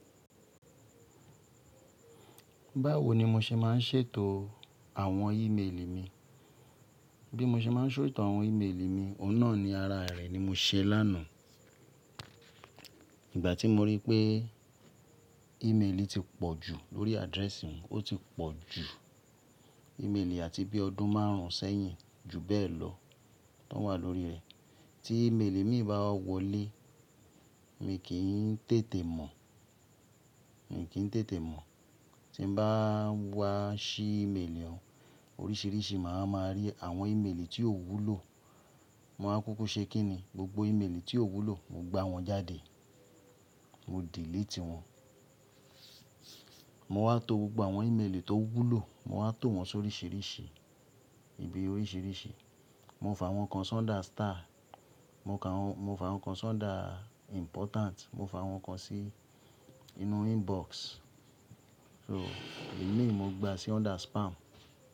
Báwo ni mo ṣe máa ń ṣètò àwọn ímeèlì mi? Bí mo ṣe máa ń ṣètò àwọn ímeèlì mi, ọ̀un na ní ara rẹ̀ ni mo ṣe lánàá. Ìgbà tí mo rí pé ímeèlì ti pọ̀ jù lórí address mi, ó ti pọ̀ jù ímeèlì àti bí ọdún márùn-ún sẹ́yìn, ju bẹ́ẹ̀ lọ tó wà lórí rẹ̀. Tí ímeèlì mi bá wọlé, mi kì í tètè mọ̀, mi kì í tètè mọ̀. Tí n bá wá ṣí ímeèlì oun, oríṣìíríṣìí màá ma rí àwọn ímeèlì tí ò wúlò. Mo máa kúkú ṣe kíni, gbogbo ímeèlì tí ò wúlò, mo gbá wọn jáde. Mo delete wọn. Mo wá to gbogbo àwọn ímeèlì tó wúlò, mo wá tò wọ́n sóríṣiríṣi ibi oríṣìíríṣìí. Mo f'àwọn kan sọ́ńdà star, mo f'àwọn kan sọ́ńdà important, mo f'àwọn kan sí inú inbox. So, èyí i mo gbá sí under spam.